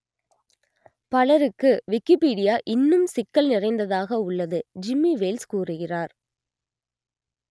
பலருக்கு விக்கிப்பீடியா இன்னும் சிக்கல் நிறைந்ததாக உள்ளது ஜிம்மி வேல்ஸ் கூறுகிறார்